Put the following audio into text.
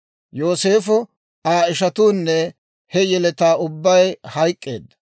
Yooseefo, Aa ishatuunne he yeletaa ubbay hayk'k'eedda;